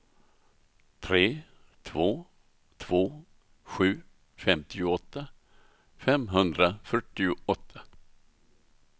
tre två två sju femtioåtta femhundrafyrtioåtta